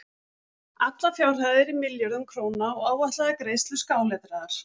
Allar fjárhæðir í milljörðum króna og áætlaðar greiðslur skáletraðar.